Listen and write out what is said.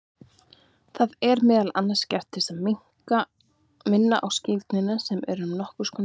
Það er meðal annars gert til að minna á skírnina sem er nokkur konar bað.